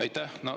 Aitäh!